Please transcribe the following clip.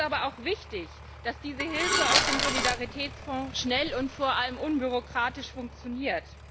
Es ist aber auch wichtig, dass diese Hilfe aus dem Solidaritätsfonds schnell und vor allem unbürokratisch funktioniert.